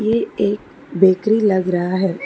ये एक बेकरी लग रहा है।